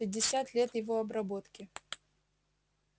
пятьдесят лет его обработки